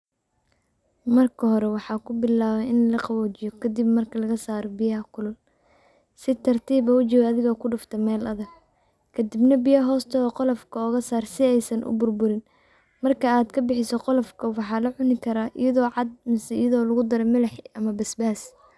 Marka hore waxa kubilawe in laqawojiyo kadib marka lagasaro biyaha kulul. Si tartib ah ujawi adigo kudufte mel adag. Kadibna biyo hostoda qolofka ogasar si eysan uburburin. marki ad kabixiso qolofka walacuni karaa iyado caad ama lagudarayo milix ama basbas.